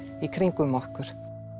í kringum okkur tapio